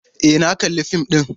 E, na kalli fim ɗin.